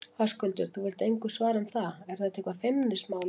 Höskuldur: Þú vilt engu svara um það, er þetta eitthvað feimnismál, eða?